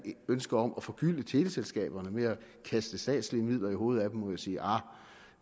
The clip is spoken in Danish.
ønske om at forgylde teleselskaberne ved at kaste statslige midler i hovedet må jeg sige ahr